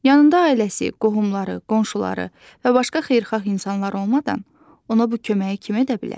Yanında ailəsi, qohumları, qonşuları və başqa xeyirxah insanlar olmadan ona bu köməyi kim edə bilər?